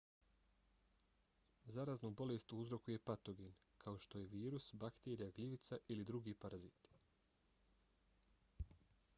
zaraznu bolest uzrokuje patogen kao što je virus bakterija gljivica ili drugi paraziti